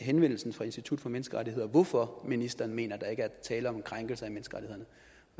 henvendelsen fra institut for menneskerettigheder hvorfor ministeren mener at der ikke er tale om en krænkelse